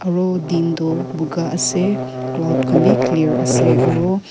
aru din toh buka ase cloud khan bi clear ase aro.